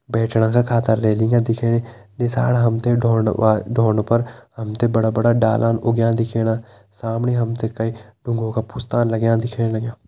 बैठणा का खातिर रेलिंग दिखेणी नीसाण हम ते धोंड वा-धोंड पर हम ते बड़ा बड़ा डाला उग्यां दिखेणा सामणी हम ते कई ढुंगों का पुस्ता लग्यां दिखेण लग्यां।